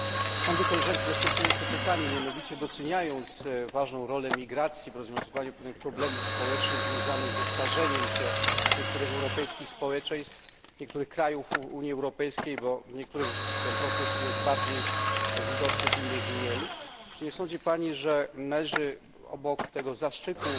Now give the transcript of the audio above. Mam do Koleżanki następujące pytanie doceniając mianowicie ważną rolę migracji w rozwiązywaniu pewnych problemów społecznych związanych ze starzeniem się niektórych europejskich społeczeństw, niektórych krajów Unii Europejskiej bo w niektórych ten proces jest bardziej widoczny, w innych mniej czy nie sądzi Pani, że należy obok tego zastrzyku